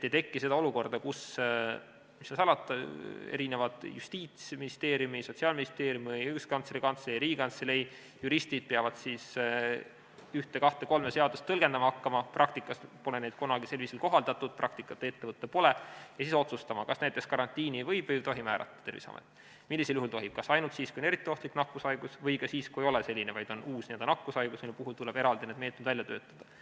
Ei teki seda olukorda, kus, mis seal salata, Justiitsministeeriumi, Sotsiaalministeeriumi, Õiguskantsleri Kantselei, Riigikantselei juristid peavad ühte, kahte või kolme seadust tõlgendama hakkama, mida praktikas pole kunagi selliselt kohaldatud, praktikat ette võtta pole, ja siis peavad nad otsustama, kas näiteks karantiini võib või ei tohi määrata Terviseamet, millisel juhul tohib, kas ainult siis, kui on eriti ohtlik nakkushaigus, või ka siis, kui ei ole selline haigus, vaid on uus nakkushaigus, mille puhul tuleb eraldi meetmed välja töötada.